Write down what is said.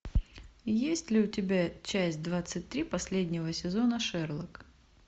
есть ли у тебя часть двадцать три последнего сезона шерлок